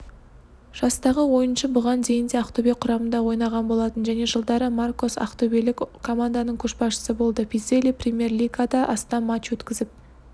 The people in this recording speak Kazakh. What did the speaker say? жастағы ойыншы бұған дейін де ақтөбе құрамында ойнаған болатын және жылдары маркос ақтөбелік команданың көшбасшысы болды пиззелли премьер-лигада астам матч өткізіп